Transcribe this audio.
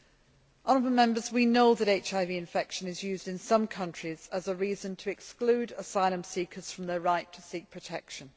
Honourable Members, we know that HIV infection is used in some countries as a reason to exclude asylum seekers from their right to seek protection.